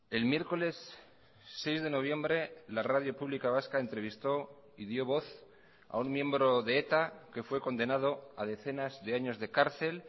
el miércoles seis de noviembre la radio pública vasca entrevistó y dio voz a un miembro de eta que fue condenado a decenas de años de cárcel